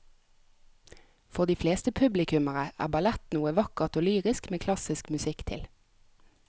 For de fleste publikummere er ballett noe vakkert og lyrisk med klassisk musikk til.